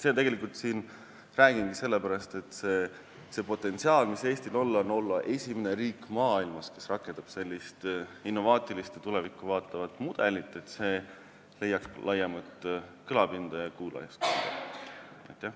Räägin seda sellepärast, et Eestil on potentsiaal olla esimene riik maailmas, kes rakendab sellist innovaatilist ja tulevikku vaatavat mudelit, see peaks leidma laiemat kõlapinda ja kuulajaskonda.